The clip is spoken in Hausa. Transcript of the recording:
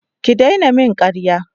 Ki daina min karya.